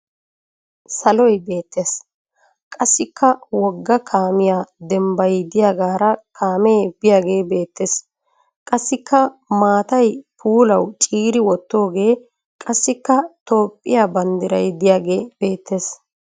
Saloy beettes. Qassikka wogga kaamiya dabaabay diyagaara kaamee biyagee beettes. Qassikka maatay puulawu ciiri wottooge qassikka toophphiya banddiray diyagee beettes.